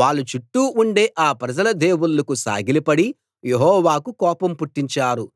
వాళ్ళ చుట్టూ ఉండే ఆ ప్రజల దేవుళ్ళకు సాగిలపడి యెహోవాకు కోపం పుట్టించారు